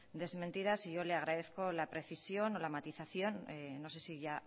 desmentidas y yo le agradezco la precisión o la matización no sé si ya